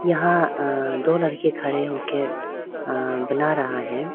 यहां दो लड़के खड़े होकर बना रहा है।